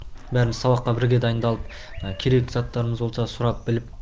бәріміз сабаққа бірге дайындалып мына керекті заттарымыз болса сұрап біліп